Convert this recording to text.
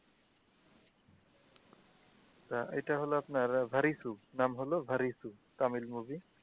তা এইটা হলো আপনার ভারিসু নাম হলো ভারিসু তামিল মুভি